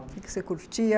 O que que você curtia?